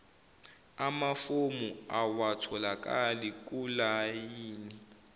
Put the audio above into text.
amafomu awatholakali kulayini